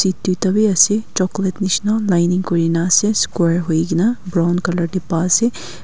duita wi ase chocolate nishina lining kurina ase square huigena brown colour tey pa se.